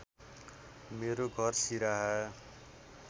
मेरो घर सिराहा